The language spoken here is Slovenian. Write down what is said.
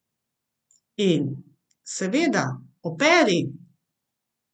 In, seveda, operi.